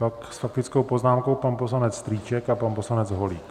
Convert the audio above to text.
Pak s faktickou poznámkou pan poslanec Strýček a pan poslanec Holík.